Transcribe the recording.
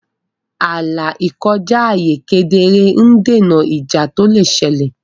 ààlà ìkọjá ààyè kedere ń dènà ìjà tó lè ṣẹlẹ̀.